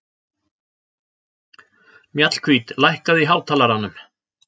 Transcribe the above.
Mjallhvít, lækkaðu í hátalaranum.